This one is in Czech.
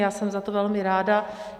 Já jsem za to velmi ráda.